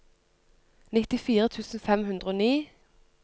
nittifire tusen fem hundre og ni